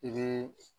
I bɛ